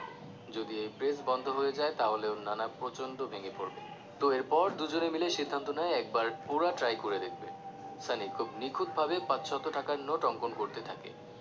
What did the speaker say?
যদি এই press বন্ধ হয়ে যায় তাহলে ওর নানা প্রচন্ড ভেঙে পড়বে তো এরপর দুজনে মিলে সিদ্ধান্ত নেয় একবার ওরা try করে দেখবে সানি খুব নিখুঁতভাবে পাঁচশত টাকার নোট অঙ্কন করতে থাকে